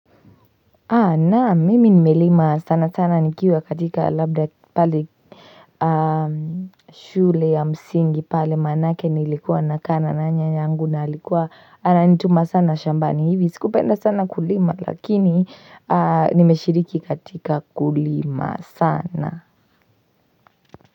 Naam mimi nimelima sana sana nikiwa katika labda pale shule ya msingi pale manake nilikuwa nakaa na nyanya yangu na alikuwa ananituma sana shambani hivi sikupenda sana kulima lakini nimeshiriki katika kulima sana.